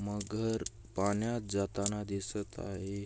मगर पाण्यात जाताना दिसत आहे.